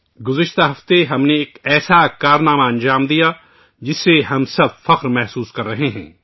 پچھلے ہفتے ہم نے ایک ایسی کامیابی حاصل کی ہے ، جس پر ہم سب کو فخر ہے